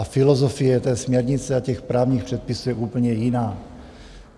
A filozofie té směrnice a těch právních předpisů je úplně jiná.